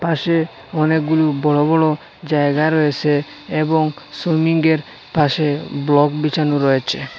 পাশে অনেকগুলো বড় বড় জায়গা রয়েসে এবং সুইমিংয়ের পাশে ব্লক বিছানো রয়েছে।